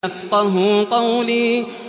يَفْقَهُوا قَوْلِي